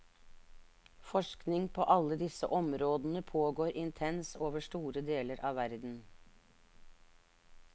Forskning på alle disse områdene pågår intenst over store deler av verden.